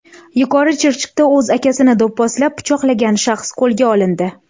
Yuqori Chirchiqda o‘z akasini do‘pposlab, pichoqlagan shaxs qo‘lga olindi.